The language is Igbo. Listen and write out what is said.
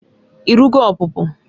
I rugo ọpụpụ?